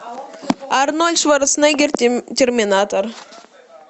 арнольд шварценеггер терминатор